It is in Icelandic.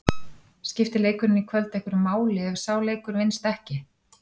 Skipti leikurinn í kvöld einhverju máli ef sá leikur vinnst ekki?